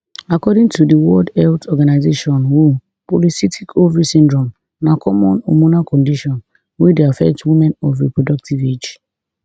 according to di world health organisation who polycystic ovary syndrome na common hormonal condition wey dey affect women of reproductive age